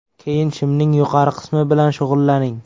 Keyin shimning yuqori qismi bilan shug‘ullaning.